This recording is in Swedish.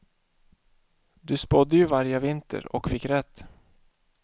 Du spådde ju vargavinter och fick rätt.